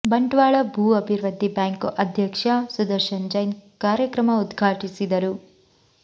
ಬಂಟ್ವಾಳ ಭೂ ಅಭಿವೃದ್ಧಿ ಬ್ಯಾಂಕು ಅಧ್ಯಕ್ಷ ಸುದರ್ಶನ್ ಜೈನ್ ಕಾರ್ಯಕ್ರಮ ಉದ್ಘಾಟಿಸಿದರು